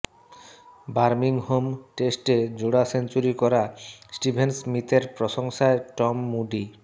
Birmingham টেস্টে জোড়া century করা স্টিভেন স্মিথের প্রশংসায় টম মুডি